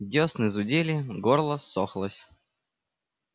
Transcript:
десны зудели горло ссохлось